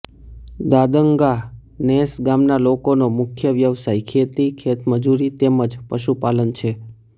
દાદંગા નેસ ગામના લોકોનો મુખ્ય વ્યવસાય ખેતી ખેતમજૂરી તેમ જ પશુપાલન છે